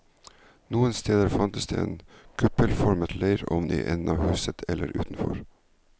Noen steder fantes det en kuppelformet leireovn i enden av huset eller utenfor.